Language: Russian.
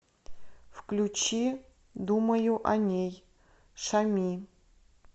включи думаю о ней шами